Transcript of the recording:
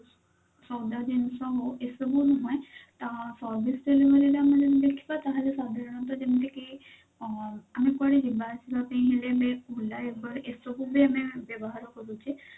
ସଉଦା ଜିନିଷ ହଉ ଏସବୁ ନୁହେଁ ତା service delivery ରେ ଆମେ ଯଦି ଦେଖିବା ତାହେଲେ ସାଧାରଣତଃ ଯେମତି କି ଅ ଆମେ କୁଆଡେ ଯିବା ଆସିବା ପାଇଁ ହେଲେ ଆମେ OLA uber ଏସବୁ ବି ଆମେ ବ୍ୟବହାର କରୁଛେ